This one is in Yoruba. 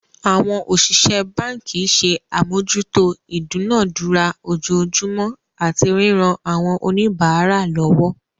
Àwọn òṣìṣẹ́ báǹkì ṣe àmójútó ìdúnadúrà ojoojúmọ́ àti ríran àwọn oníbàárà lọwọ́.